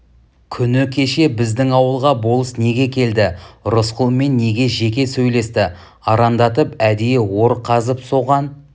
күні кеше біздің ауылға болыс неге келді рысқұлмен неге жеке сөйлесті арандатып әдейі ор қазып соған